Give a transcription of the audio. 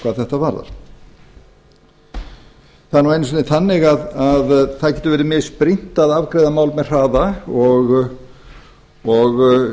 varðar það nú einu sinni þannig að það getur verið misbrýnt að afgreiða mál með hraða og